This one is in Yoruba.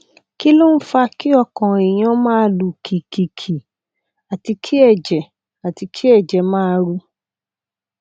kí ló ń fa kí ọkàn èèyàn máa lù kìkìkì àti kí ẹjẹ àti kí ẹjẹ máa ru